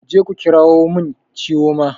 Kuje ku ƙira mun chioma!